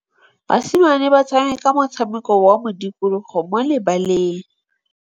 Basimane ba tshameka motshameko wa modikologô mo lebaleng.